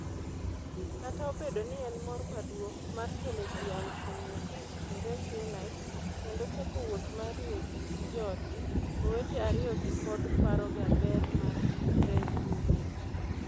Kata obedo ni ne en mor maduong' mar kelo ji 500,000 e REFUNITE kendo chako wuoth mar riwo ji gi joodgi, owete ariyogi pod paroga ber mar REFUNITE: